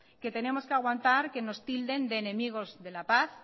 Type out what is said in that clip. que tenemos que aguantar que nos tilden de enemigos de la paz